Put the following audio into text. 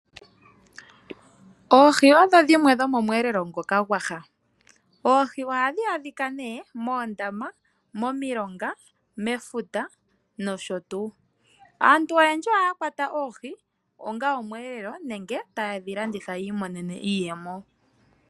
Oohi odho dhimwe dhomomweelelo ngoka gwaha. Ohadhi adhika moondama, momilonga mefuta nosho tuu. Aantu oyendji ohaa kwata oohi onga omweelelo nenge ta yedhi landitha yi imonene iiyemo.